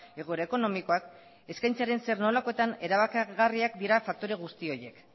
egoera ekonomikoak eskaintzaren zer nolakoetan erabakigarriak dira faktore guzti horiek